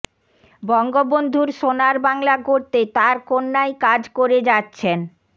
বঙ্গবন্ধুর সোনার বাংলা গড়তে তার কন্যাই কাজ করে যাচ্ছেন